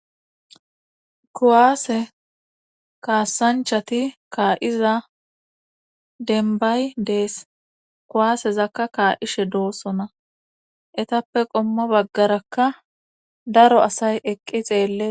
kuwaase kaassanchati kaa7iza denbay dees kuwaasezakka kaa7ishe doossona etappe qommo baggarakka daro asay eqqi xeelle